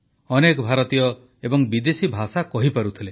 ଅନେକ ଭାରତୀୟ ଏବଂ ବିଦେଶୀ ଭାଷା କହିପାରୁଥିଲେ